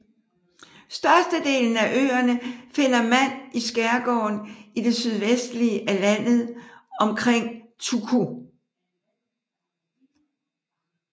Størstedelen af øerne finder mand i skærgården i det sydvestlige af landet omkring Turku